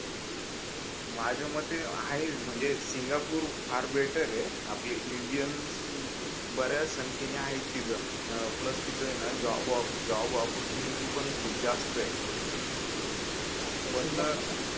माझ्यामते आहे म्हणजे सिंगापूर फार बेटर य आपले इंडियन ब-याच संख्यांनी आहेत तिथे प्लस तिथय ना जॉब ऑप्पर्टयुनिटी पण खूप जास्त आहे पण का